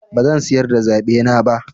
Bazan sayar da zaɓena ba.